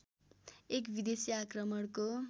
एक विदेशी आक्रमणको